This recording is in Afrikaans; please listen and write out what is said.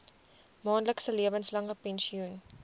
maandelikse lewenslange pensioen